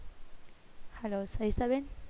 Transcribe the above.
hello Savita બેન